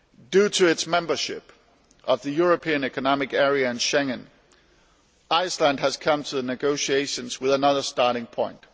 Due to its membership of the European Economic Area and Schengen, Iceland has come to the negotiations with another starting point.